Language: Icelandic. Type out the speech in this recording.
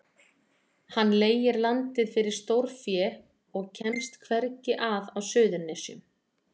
Hann leigir landið fyrir stórfé og kemst hvergi að á Suðurnesjum.